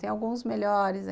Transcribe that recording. Tem alguns melhores.